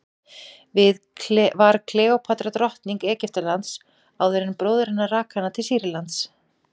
var kleópatra drottning egyptalands áður en bróðir hennar rak hana til sýrlands